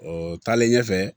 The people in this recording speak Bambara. O taalen ɲɛfɛ